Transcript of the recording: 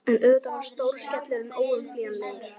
En auðvitað var stóri skellurinn óumflýjanlegur.